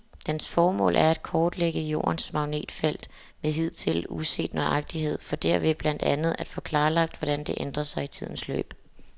Dens formål er at kortlægge Jordens magnetfelt med hidtil uset nøjagtighed for derved blandt andet at få klarlagt, hvordan det ændrer sig i tidens løb.